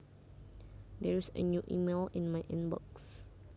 There is a new email in my in box